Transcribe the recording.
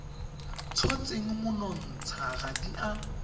tshotseng monontsha ga di a